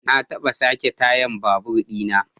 Na taba sake tayar babur di na.